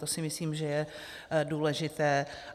To si myslím, že je důležité.